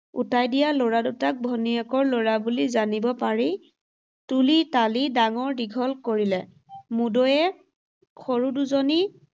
উটাই দিয়া ল’ৰা দুটাক ভনীয়েকৰ ল’ৰা বুলি জানিব পাৰি তুলি-তালি ডাঙৰ-দীঘল কৰিলে। মুদৈয়ে, সৰু দুজনী